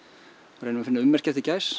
reynir að finna ummerki eftir gæs